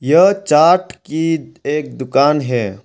यह चाट की एक दुकान है।